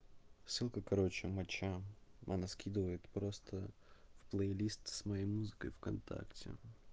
ссылка короче мача она скидывает просто плейлист с моей музыкой в контакте